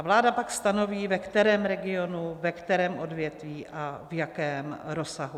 A vláda pak stanoví, ve kterém regionu, ve kterém odvětví a v jakém rozsahu.